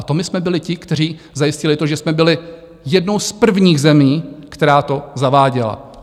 A to my jsme byli ti, kteří zajistili to, že jsme byli jednou z prvních zemí, která to zaváděla.